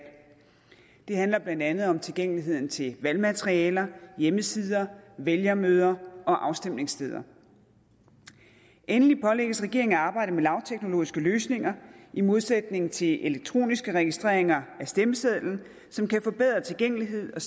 det handler blandt andet om tilgængelighed til valgmateriale hjemmesider vælgermøder og afstemningssteder endelig pålægges regeringen at arbejde med lavteknologiske løsninger i modsætning til elektroniske registreringer af stemmesedlen som kan forbedre tilgængelighed og